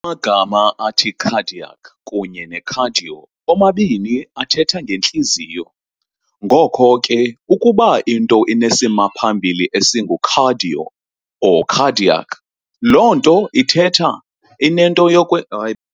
Amagama athi "cardiac" kunye ne-"cardio" omabini athetha nge"ntliziyo", ngoko ke ukuba into inesimaphambili esingu-"cardio" or "cardiac", loo nto ithetha inento yokwenza.